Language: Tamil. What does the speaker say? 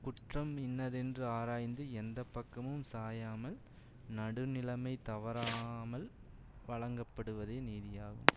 குற்றம் இன்னதென்று ஆராய்ந்து எந்த பக்கமும் சாயாமல் நடுநிலைமை தவறாமல் வழங்கப்படுவதே நீதியாகும்